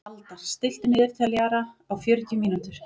Aldar, stilltu niðurteljara á fjörutíu mínútur.